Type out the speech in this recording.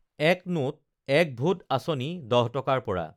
এক নোট এক ভোট আঁচনি দহ টকাৰ পৰা